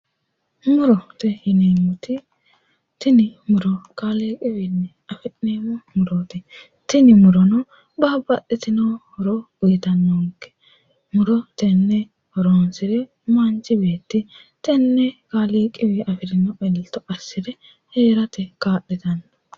Murote yineemmoti tini muro kaaliiqiwiinni afi'neemmo murooti tini murono babbaxxitino horo uyitannonke muro tenne horonsiriro manchi beetti tenne kaaliiqiwiinni afirino elto assire heerate kaa'litanno